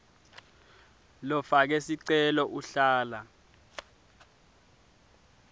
lofake sicelo uhlala